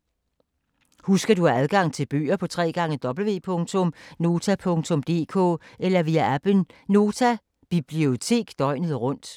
Husk at du har adgang til bøger på www.nota.dk eller via appen Nota Bibliotek døgnet rundt.